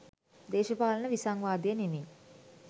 දේශපාලන විසංවාදය නෙමෙයි